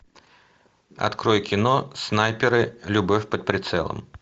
открой кино снайперы любовь под прицелом